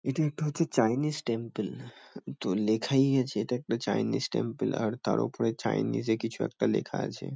এটি একটা হচ্ছে চাইনিস টেম্পেল । তো লেখাই আছে এটা একটা চাইনিস টেম্পেল । আর তার উপরে চাইনিস -এ কিছু একটা লেখা আছে।